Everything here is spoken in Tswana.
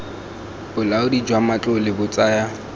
bolaodi jwa matlole bo tsaya